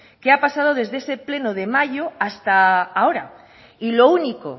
qué ha pasado desde ese pleno de mayo hasta ahora y lo único